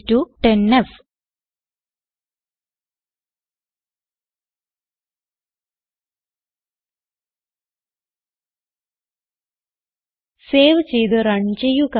y10f save ചെയ്ത് run ചെയ്യുക